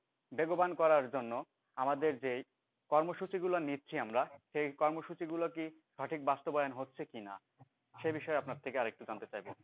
বেগবান করার জন্য আমাদের যে কর্মসূচি গুলো নিচ্ছি আমরা সেই কর্মসূচিগুলো কি সঠিক বাস্তবায়ন হচ্ছে কিনা সে বিষয়ে আপনার থেকে আর একটু জানতে চাইবো